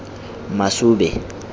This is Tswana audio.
masube